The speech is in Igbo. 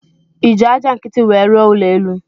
Iji aja nkiti nwere rụọ ụlọ elu?